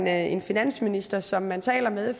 er en finansminister som man taler med